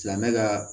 Silamɛ ka